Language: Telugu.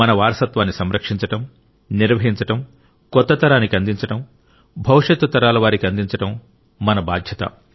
మన వారసత్వాన్ని సంరక్షించడం నిర్వహించడం కొత్త తరానికి అందించడం భవిష్యత్తు తరాల వారికి అందించడం మన బాధ్యత